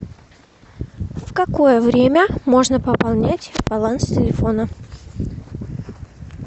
в какое время можно пополнять баланс телефона